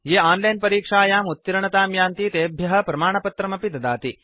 ये ओनलाइन् परीक्षायाम् उत्तीर्णतां यान्ति तेभ्य प्रमाणपत्रमपि दीयते